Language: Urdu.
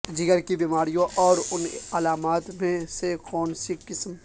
جگر کی بیماریوں اور ان علامات میں سے کونسی قسم